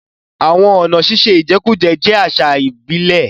Àwọn ọ̀nà ṣíṣe ìjẹkújẹ jẹ́ àṣà ìbílẹ̀.